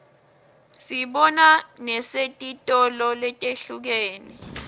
siyibona nesetitolo letihlukene